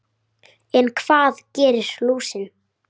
En hvað gerir lúsin?